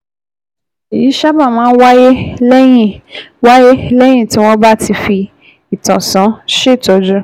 Èyí sábà máa ń wáyé lẹ́yìn wáyé lẹ́yìn tí wọ́n bá ti fi ìtànṣán ṣètọ́jú